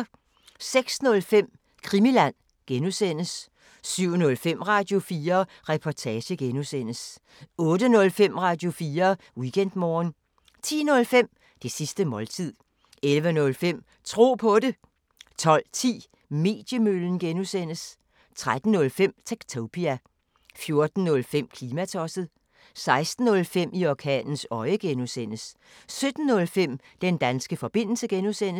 06:05: Krimiland (G) 07:05: Radio4 Reportage (G) 08:05: Radio4 Weekendmorgen 10:05: Det sidste måltid 11:05: Tro på det 12:10: Mediemøllen (G) 13:05: Techtopia 14:05: Klimatosset 16:05: I orkanens øje (G) 17:05: Den danske forbindelse (G)